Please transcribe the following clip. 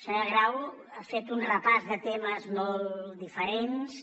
senyora grau ha fet un repàs de temes molt diferents